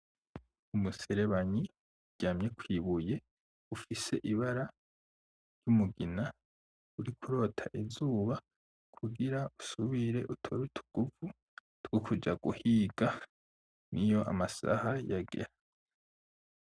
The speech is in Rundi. Umuserabanyi uryamye kw'ibuye ufise ibara ry'umugina uriko urota izuba kugira usubire utore utuguvu two kuja guhiga niyo amasaha yagera.